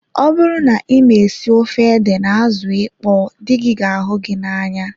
Ọ bụrụ na ịma esi ofe ede na azụ ịkpọ dị gị ga ahụ gị n'anya